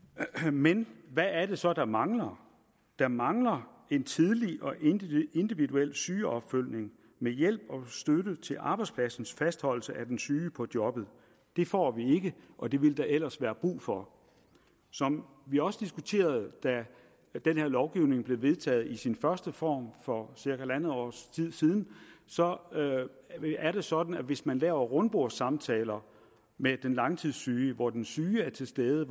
men hvad er det så der mangler der mangler en tidlig og individuel individuel sygeopfølgning med hjælp og støtte til arbejdspladsens fastholdelse af den syge på jobbet det får vi ikke og det ville der ellers være brug for som vi også diskuterede da den her lovgivning blev vedtaget i sin første form for cirka halvandet års tid siden så er det sådan at hvis man laver rundbordssamtaler med den langtidssyge hvor den syge er til stede